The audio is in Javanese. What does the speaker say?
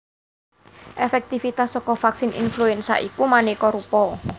Èfèktivitas saka vaksin influenza iku manéka rupa